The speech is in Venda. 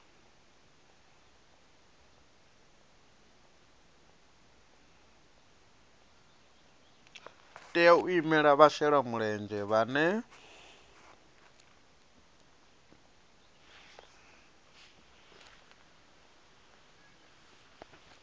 tea u imela vhashelamulenzhe vhane